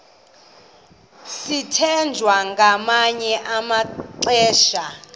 sithwethwa ngamanye amaxesha